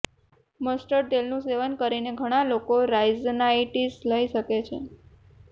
mustard તેલનું સેવન કરીને ઘણા લોકો રાઇનાઇટિસ લઈ શકે છે